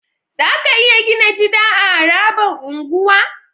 Zaka iya Gina jida a harabar unguwa